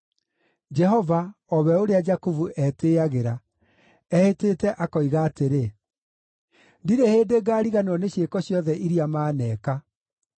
Jehova o we ũrĩa Jakubu etĩĩagĩra, ehĩtĩte akoiga atĩrĩ, “Ndirĩ hĩndĩ ngariganĩrwo nĩ ciĩko ciothe iria maneeka.